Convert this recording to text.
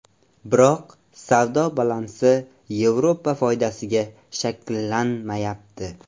Biroq savdo balansi Yevropa foydasiga shakllanmayapti.